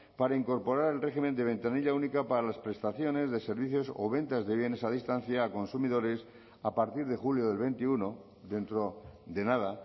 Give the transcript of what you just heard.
para incorporar el régimen de ventanilla única para las prestaciones de servicios o ventas de bienes a distancia a consumidores a partir de julio del veintiuno dentro de nada